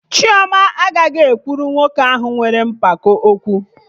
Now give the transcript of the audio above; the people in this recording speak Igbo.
Chioma agaghị agwa nwoke ahụ nwere mpako okwu